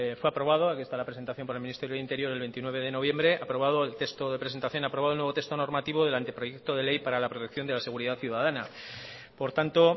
fue aprobado aquí esta la presentación por el ministerio del interior el veintinueve de noviembre aprobado el texto de presentación aprobado el nuevo texto normativo del anteproyecto de ley para la protección de la seguridad ciudadana por tanto